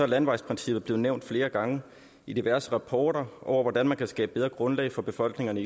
landevejsprincippet blevet nævnt flere gange i diverse rapporter over hvordan man kan skabe bedre grundlag for befolkningerne